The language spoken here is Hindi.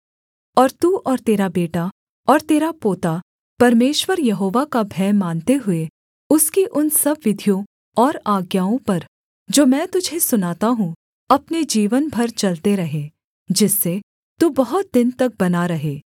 और तू और तेरा बेटा और तेरा पोता परमेश्वर यहोवा का भय मानते हुए उसकी उन सब विधियों और आज्ञाओं पर जो मैं तुझे सुनाता हूँ अपने जीवन भर चलते रहें जिससे तू बहुत दिन तक बना रहे